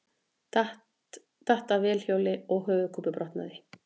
Datt af vélhjóli og höfuðkúpubrotnaði